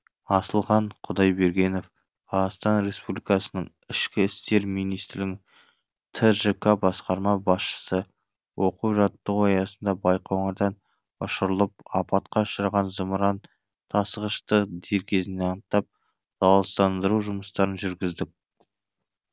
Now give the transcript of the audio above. асылхан құдайбергенов қазақстан республикасы ішкі істерминистрлігі тжк басқарма басшысы оқу жаттығу аясында байқоңырдан ұшырылып апатқа ұшыраған зымыран тасығышты дер кезінде анықтап залалсыздандыру жұмыстарын жүргіздік